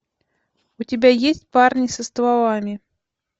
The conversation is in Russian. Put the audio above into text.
у тебя есть парни со стволами